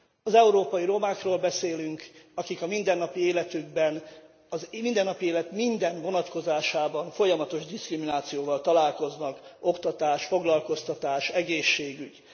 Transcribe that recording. Az európai romákról beszélünk, akik a mindennapi életükben, a mindennapi élet minden vonatkozásában folyamatos diszkriminációval találkoznak oktatás, foglalkoztatás, egészségügy.